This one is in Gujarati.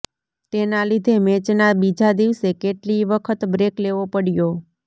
તેના લીધે મેચના બીજા દિવસે કેટલીય વખત બ્રેક લેવો પડ્યો